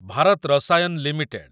Bharat Rasayan limited